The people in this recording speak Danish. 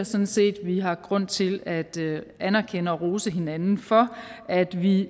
sådan set at vi har grund til at anerkende og rose hinanden for at vi